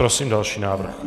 Prosím další návrh.